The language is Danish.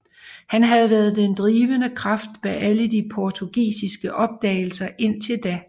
Han havde været den drivende kraft bag alle de portugisiske opdagelser indtil da